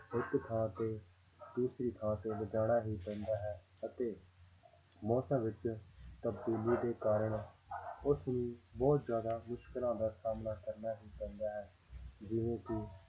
ਇੱਕ ਥਾਂ ਤੇ ਦੂਸਰੀ ਥਾਂ ਤੇ ਲਿਜਾਣਾ ਹੀ ਪੈਂਦਾ ਹੈ ਅਤੇ ਮੌਸਮਾਂ ਵਿੱਚ ਤਬਦੀਲੀ ਦੇ ਕਾਰਨ ਉਸਨੂੰ ਬਹੁਤ ਜ਼ਿਆਦਾ ਮੁਸ਼ਕਲਾਂ ਦਾ ਸਾਹਮਣਾ ਕਰਨਾ ਹੀ ਪੈਂਦਾ ਹੈ ਜਿਵੇਂ ਕਿ